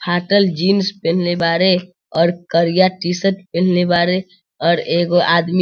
फाटल जीन्स पहनले बाड़े और करिया टी-शर्ट पहनले बाड़े और एगो आदमी --